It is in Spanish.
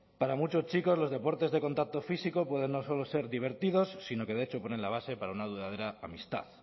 para muchos chicos los deportes de contacto físico pueden no solo ser divertidos sino que de hecho ponen la base para una duradera amistad